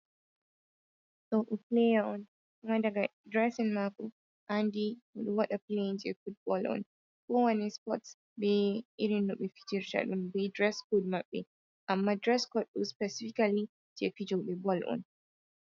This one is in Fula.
Ɗo ɗum pleya on. Kuma daga dresin maako a andi o ɗo waɗa pleyin jei futbol on. Ko wane spots be irin no ɓe fijirta ɗum, be dres kod maɓɓe, amma dres kod ɗo spesifikali jei fijoɓe bol on.